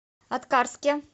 аткарске